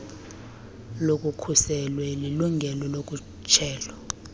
nolukhuselwe lilungelo lokhutshelo